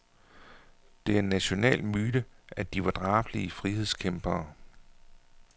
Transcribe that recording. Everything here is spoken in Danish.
Det er en national myte, at de var drabelige frihedskæmpere.